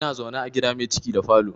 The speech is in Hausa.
Ina zaune a gida mai ciki da falo